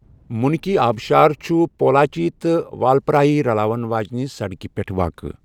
منکی آبشار چھُ پولاچی تہٕ والپرایی رلاون واجنہِ سڑکہِ پٮ۪ٹھ واقعہ۔